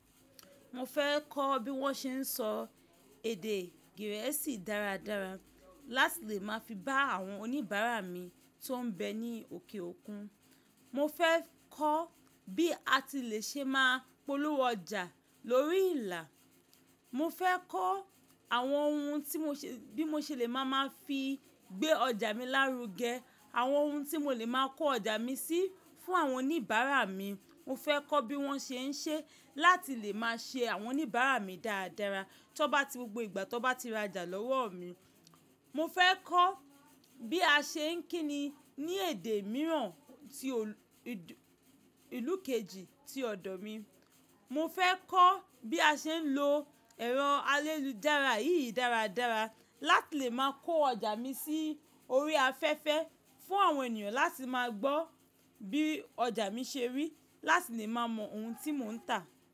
Mo fẹ́ kọ́ bí wọ́n ṣe ń sọ èdè Gẹ̀ẹ́sì dáradára láti lè máa fi bá àwọn oníbàárà mi tó ń bẹ ní òkè òkun. Mo fẹ́ kọ́ bí a ti lè ṣe máa polówó ọjà lórí ìlà. Mo fẹ́ kọ́ àwọn ohun tí mo ṣe, bí mo ṣe lè máa máa fi gbé ọjà mi lárugẹ, àwọn ohun tí mo lè máa kó ọjà mi sí fún àwọn oníbàárà mi. Mo fẹ́ kọ́ bí wọ́n ṣe ń ṣe láti lè máa ṣe àwọn oníbàárà mi dáradára tí wọ́n bá ti, gbogbo ìgbà tí wọ́n bá ti ra ọjà lọ́wọ́ mi. Mo fẹ́ kọ́ bí a ṣe ń kíni ní èdè mìíràn tí ìlú kejì tí ọ̀dọ̀ mi. Mo fẹ́ kọ́ bí a ṣe ń lo ẹ̀rọ ayélujára yìí dáradára láti lè máa kó ọjà mi sí orí afẹ́fẹ́ fún àwọn ènìyàn láti máa gbọ́ bí ọjà mi ṣe rí, láti lè máa mọ ohun tí mò ń tà.